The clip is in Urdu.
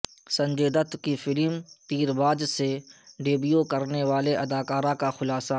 سنجے دت کی فلم تیرباز سے ڈیبیو کرنے والی اداکارہ کا خلاصہ